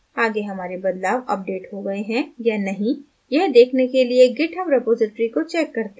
आगे हमारे बदलाव अपडेट हो गए हैं या नहीं यह देखने के लिए github repository को check करते हैं